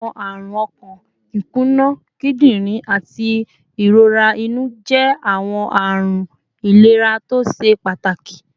Awọn arun ọkan, ikuna kidirin, ati irora inu jẹ awọn ọran ilera to ṣe pataki